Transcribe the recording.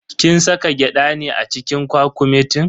Kin saka gyada ne a cikin kwakumetin?